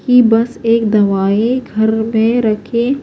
کی بس ایک دواہے گھر مے رکھے